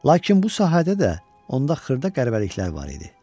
Lakin bu sahədə də onda xırda qəribəliklər var idi.